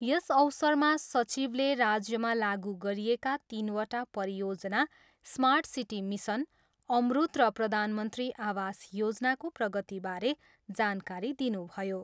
यस अवसरमा सचिवले राज्यमा लागु गरिएका तिनवटा परियोजना समार्ट सिटी मिसन, अम्रुत र प्रधानमन्त्री आवास योजनाको प्रगतिबारे जानकारी दिनुभयो।